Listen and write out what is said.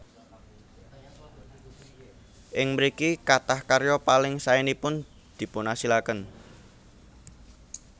Ing mriki kathah karya paling saénipun dipunasilaken